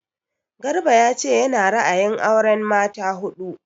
Garba ya ce ya na ra'ayin auren mata huɗu